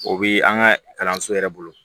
O bi an ka kalanso yɛrɛ bolo